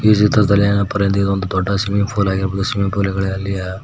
ಈ ಚಿತ್ರದಲ್ಲಿ ಎನ್ ಅಪ್ಪ ಅಂತ ಅಂದ್ರೆ ಇದು ದೊಡ್ಡ ಸ್ವಿಮ್ಮಿಂಗ್ ಪೂಲ್ ಆಗಿರ್ಬೋದು ಸ್ವಿಮ್ಮಿಂಗ್ ಪೂಲ್ ಗಳಲಿಯ --